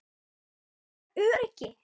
Hana vantar öryggi.